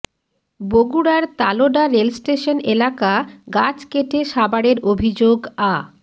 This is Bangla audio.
বগুড়ার তালোড়া রেলস্টেশন এলাকা গাছ কেটে সাবাড়ের অভিযোগ আ